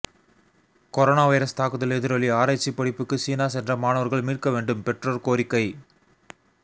corona virus தாக்குதல் எதிரொலி ஆராய்ச்சி படிப்புக்கு சீனா சென்ற மாணவர்களை மீட்க வேண்டும் பெற்றோர் கோரிக்கை